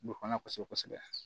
Don fana kosɛbɛ